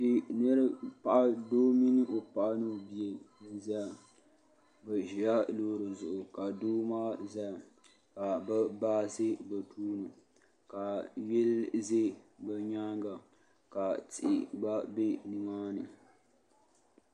Doo mini o paɣa ni o bia n-zaya bɛ ʒila loori zuɣu ka doo maa zaya ka bɛ baa za bɛ tooni ka yili za bɛ nyaaŋa ka tihi ɡba be nimaani